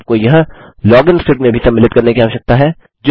आप को यह लॉगिन स्क्रिप्ट में भी सम्मिलित करने की आवश्यकता है